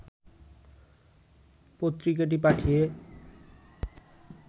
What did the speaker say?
পত্রিকাটি পাঠিয়ে